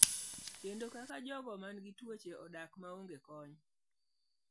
Kendo kaka jogo mantie gi tuoche odak maonge kony.